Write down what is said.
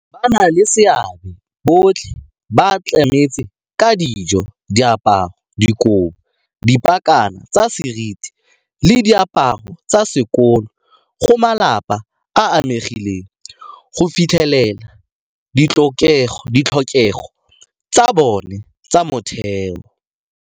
Bannaleseabe botlhe ba tlametse ka dijo, diaparo, dikobo, dipakana tsa seriti le diaparo tsa sekolo go malapa a a amegileng go fitlhelela ditlhokego tsa bona tsa motheo.